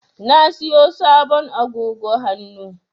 Na siyo sabon agogo hannu.